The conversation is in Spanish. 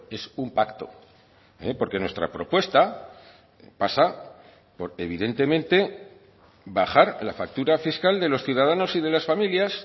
es un pacto porque nuestra propuesta pasa por evidentemente bajar la factura fiscal de los ciudadanos y de las familias